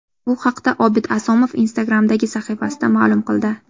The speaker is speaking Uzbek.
Bu haqda Obid Asomov Instagram’dagi sahifasida ma’lum qildi .